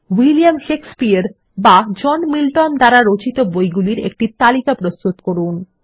William Shakespeare বা John Milton দ্বারা রচিত বইগুলির একটি তালিকা প্রস্তুত করুন